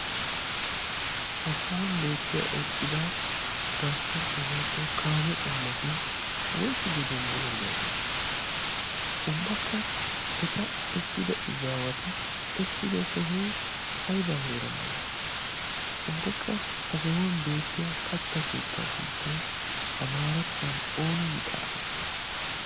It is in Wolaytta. ha sohuwan beettiya eqqida tiraaspportti hoigo kaame qommoti woysu geden buloliyaageeti ubbakka eta essida izaawati essido sohoi aiba heera malati ubbakka ha sohuwan beettiya katta keettaa sunttai amaarattuwan oona gi xaafettidi?